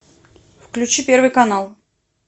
включи первый канал